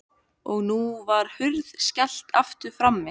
Og nú var hurð skellt aftur frammi.